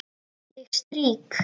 Ég strýk.